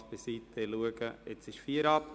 Spass beiseite: Es ist jetzt 17.04 Uhr.